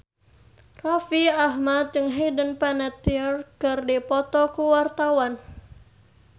Raffi Ahmad jeung Hayden Panettiere keur dipoto ku wartawan